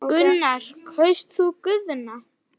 Gunnar: Kaust þú Guðna?